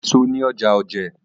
Ọjà èso ni ọjà òjé.